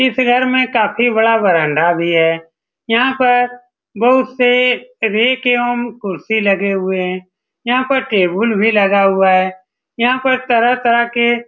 इस घर में काफी बड़ा बरांडा भी है यहां पर बहुत से रेक एवं कुर्शी लगे हुए हैं यहां पर टेबुल भी लगा हुआ है यहां पर तरह-तरह के --